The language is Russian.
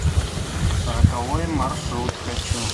роковой маршрут хочу